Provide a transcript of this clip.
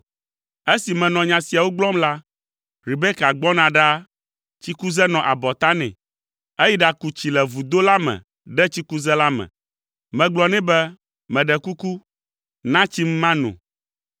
“Esi menɔ nya siawo gblɔm la, Rebeka gbɔna ɖaa, tsikuze nɔ abɔta nɛ. Eyi ɖaku tsi le vudo la me ɖe tsikuze la me. Megblɔ nɛ be, ‘Meɖe kuku, na tsim mano.’